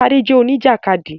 Tádé jẹ́ Oníjàkádì